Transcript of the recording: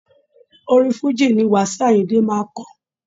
Orin fújì ni wasiu ayinde máa ń ko.